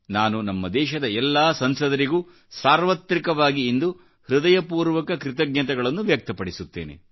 ನಾನು ನಮ್ಮ ದೇಶದ ಎಲ್ಲಾಸಂಸದರಿಗೂ ಸಾರ್ವತ್ರಿಕವಾಗಿ ಇಂದು ಹೃದಯಪೂರ್ವಕ ಕೃತಜ್ಞತೆಗಳನ್ನು ವ್ಯಕ್ತಪಡಿಸುತ್ತೇನೆ